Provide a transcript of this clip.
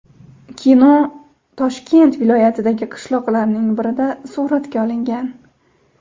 Kino Toshkent viloyatidagi qishloqlarning birida suratga olingan.